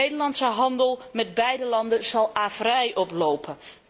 Nederlandse handel met beide landen zal averij oplopen.